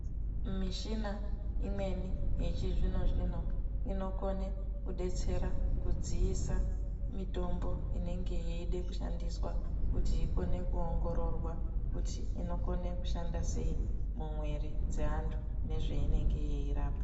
Mishina imweni yechizvino-zvino, inokone kudetsera kudziisa mitombo inenge yeida kushandiswa, kuti ikone kuongororwa kuti inokone kushanda sei mumwiri dzeantu nezveinenge yeirapa.